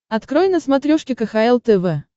открой на смотрешке кхл тв